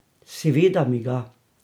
Seveda mi ga!